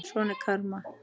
Svona er karma.